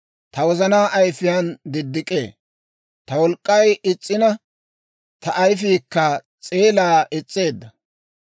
Ta wozana ayifiyaan diddik'ee; ta wolk'k'ay is's'ina; Ta ayifiikka s'eelaa is's'eedda.